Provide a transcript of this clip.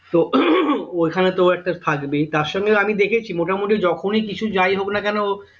তো ওই খানে তো ও একটা থাকবেই তার সঙ্গে আমি দেখেছি মোটামুটি কিছু যায় হোক না কেন